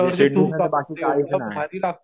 म्हणजे sweet dish मध्ये बाकी काहीच नाही.